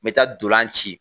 Me taa dolan ci